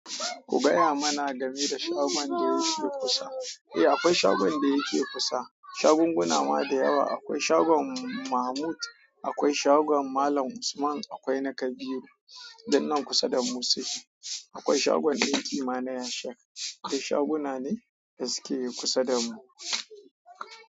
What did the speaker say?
Ku gaya mana game da shagon da yake kusa. Eh akwai shagon da yake kusa, shagunguna ma da yawa. Akwai shagon Mahmud, akwai shagon Malam Usman, akwai na Kabiru. Duknan kusa da mu suke. Akwai shagon ɗinki ma na Ya sheik. Dik shaguna ne da suke kusa da mu.